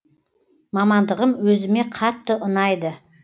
мамандығым өзіме өте қатты ұнайды